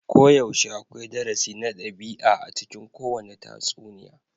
Koyaushe akwai darasi na ɗabi'a a cikin kowane tatsuniya.